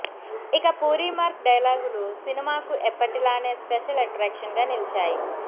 ఇక పూరి మార్క్ డైలాగులు సినిమాకు ఎప్పటిలానే స్పెషల్ ఎట్రాక్షన్ గా నిలిచాయి